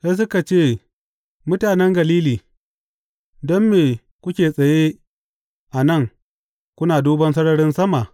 Sai suka ce, Mutanen Galili, don me kuke tsaye a nan kuna duban sararin sama?